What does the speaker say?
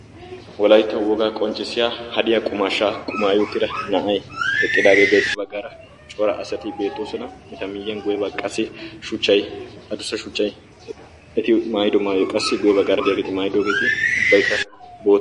Wolayttawu wogaa qonccissiya hadiya qumaashaa qumaayi uttida na'aay eqqidaagee beettees. baggaara cora asati beettoosona. Eta miyiyan guyyee baggaara qassi shuchchay adussa shuchchay eti maayido maayyo qassi guyyee baggaara de'iyaageeti maayidogeeti ubbaykka bootta.